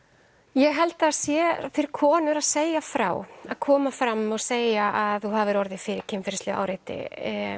ég held að það sé fyrir konur að segja frá að koma fram og segja að þú hafir orðið fyrir kynferðislegu áreiti